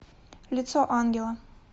лицо ангела